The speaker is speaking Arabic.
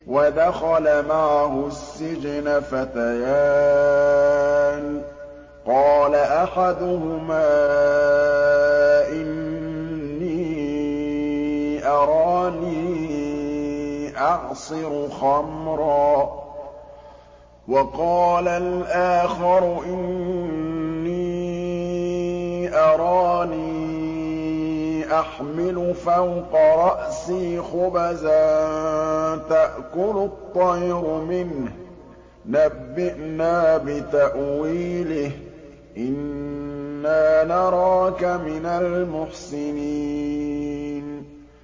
وَدَخَلَ مَعَهُ السِّجْنَ فَتَيَانِ ۖ قَالَ أَحَدُهُمَا إِنِّي أَرَانِي أَعْصِرُ خَمْرًا ۖ وَقَالَ الْآخَرُ إِنِّي أَرَانِي أَحْمِلُ فَوْقَ رَأْسِي خُبْزًا تَأْكُلُ الطَّيْرُ مِنْهُ ۖ نَبِّئْنَا بِتَأْوِيلِهِ ۖ إِنَّا نَرَاكَ مِنَ الْمُحْسِنِينَ